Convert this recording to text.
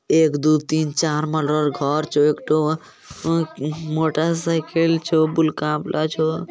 एकदो तीन चार मलरोर घर छो। एक ठो अ अ मोटरसाइकिल छो। बुल का बला छो।